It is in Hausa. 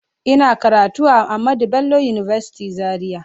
Ina karatu a Ahamed Bello university Zaria